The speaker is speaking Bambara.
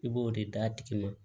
I b'o de d'a tigi ma